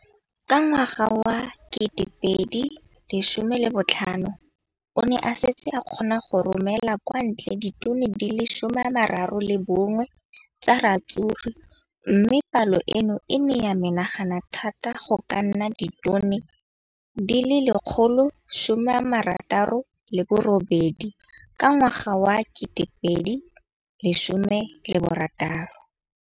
Ka ngwaga wa 2015, o ne a setse a kgona go romela kwa ntle ditone di le 31 tsa ratsuru mme palo eno e ne ya menagana thata go ka nna ditone di le 168 ka ngwaga wa 2016.